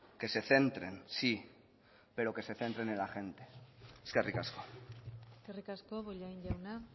que se centren sí pero que se centren en la gente eskerrik asko eskerrik asko bollain jauna